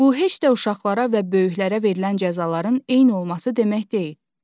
Bu heç də uşaqlara və böyüklərə verilən cəzaların eyni olması demək deyil.